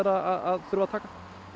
að þurfa að taka